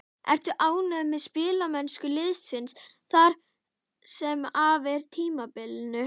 Ertu ánægð með spilamennsku liðsins það sem af er tímabilinu?